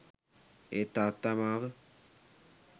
ඒත් තාත්තා මාව